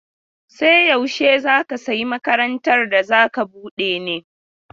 Sai yaushe za ka sayi makarantar da za ka bude ne?